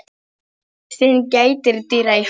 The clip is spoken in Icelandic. Syn gætir dyra í höllum